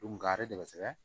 Nga a ye dɛmɛ sɛbɛn